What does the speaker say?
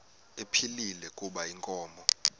ephilile kuba inkomo